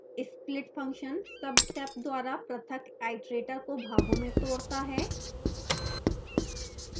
split function subsep द्वारा पृथक iterator को भागों में तोड़ता है